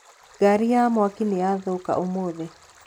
Ngari ya mwaki nĩyathũka ũmũthĩ.